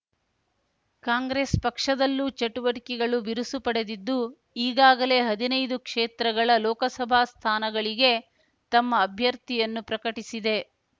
ಕಾಂಗ್ರೆಸ್ ಪಕ್ಷದಲ್ಲೂ ಚಟುವಟಿಕೆಗಳು ಬಿರುಸು ಪಡೆದಿದ್ದು ಈಗಾಗಲೇ ಹದಿನೈದು ಕ್ಷೇತ್ರಗಳ ಲೋಕಸಭಾ ಸ್ಥಾನಗಳಿಗೆ ತಮ್ಮ ಅಭ್ಯರ್ಥಿಯನ್ನು ಪ್ರಕಟಿಸಿದೆ